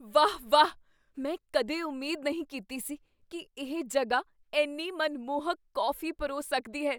ਵਾਹ ਵਾਹ! ਮੈਂ ਕਦੇ ਉਮੀਦ ਨਹੀਂ ਕੀਤੀ ਸੀ ਕੀ ਇਹ ਜਗ੍ਹਾ ਇੰਨੀ ਮਨਮੋਹਕ ਕੌਫੀ ਪਰੋਸ ਸਕਦੀ ਹੈ।